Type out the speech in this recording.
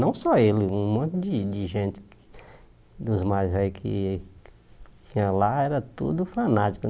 Não só ele, um monte de de gente dos mais velhos que tinha lá era tudo fanático né.